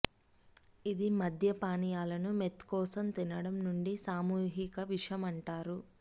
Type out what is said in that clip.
ఇది మద్య పానీయాలను మెత్కోసం తినడం నుండి సామూహిక విషం అంటారు